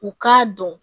U k'a dɔn